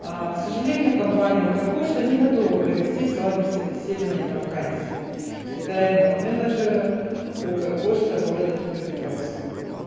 к сожалению компания укр почта не готова провести с вами собеседование на вакансии территориального менеджера укр почта города днепропетровска